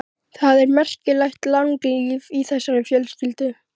Því hann var hæglátur að eðlisfari.